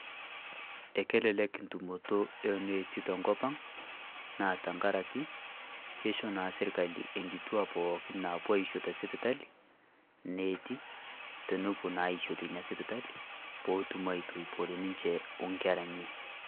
Ekelelek tumooto e netii to nkopang, naa tang'araki keishoo naa sirikali enkituak naipoo aishoo te sipitali neeti tenopoo naa ishoo tenia sipitali pootum aituipore ninchee o nkerra enye.